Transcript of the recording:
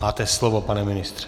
Máte slovo, pane ministře.